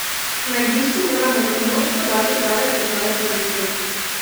Na igrišču moramo kot moštvo dati prave signale publiki.